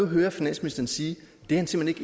hører finansministeren sige at han simpelt